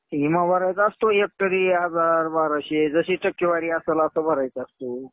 विमा भरायचो असतो तरी एक हजार, बाराशे. जशी टक्केवारी असेल आपल्याला भरायची असतो.